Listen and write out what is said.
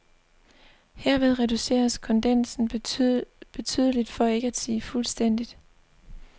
Herved reduceres kondensen betydeligt, for ikke at sige fuldstændigt.